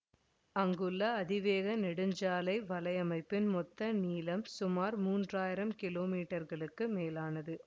இங்குள்ள அதிவேக நெடுஞ்சாலை வலையமைப்பின் மொத்த நீளம் சுமார் மூன்றயிரம் கிலோமீட்டர்களுக்கு மேலானது